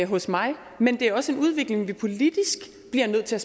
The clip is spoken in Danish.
hos mig men det er også en udvikling vi politisk bliver nødt til at